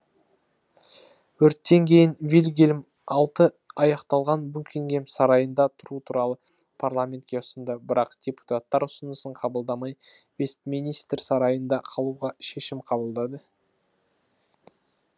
өрттен кейін вильгельм алты аяқталған букингем сарайында тұру туралы парламентке ұсынды бірақ депутаттар үсынысын қабылдамай вестминстер сарайында қалуға шешім қабылдады